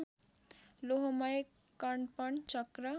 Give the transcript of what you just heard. लोहमय कणप चक्र